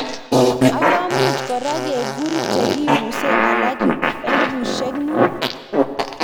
Ak komuch kora kekur chekibusee alak elipushek muut.